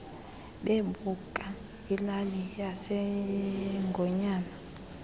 bebuka ilali yasengonyama